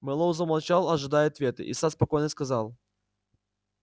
мэллоу замолчал ожидая ответа и сатт спокойно сказал